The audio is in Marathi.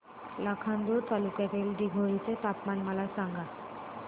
लाखांदूर तालुक्यातील दिघोरी चे तापमान मला सांगा